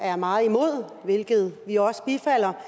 er meget imod hvilket vi også bifalder